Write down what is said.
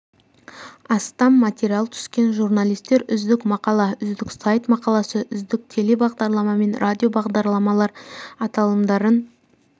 астам материал түскен журналистер үздік мақала үздік сайт мақаласы үздік телебағдарлама мен радио бағдарламалар аталымдарын